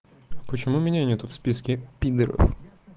почему у меня нету в списке пидоров